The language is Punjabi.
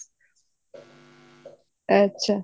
ਅੱਛਾ